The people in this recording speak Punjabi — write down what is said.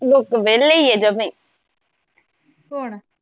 ਲੋਕ ਵੇਹਲੇ ਈਆ ਜਮੀ